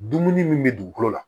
Dumuni min bɛ dugukolo la